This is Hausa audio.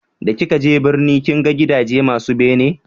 da ki ka je birni kin ga gidaje masu bene?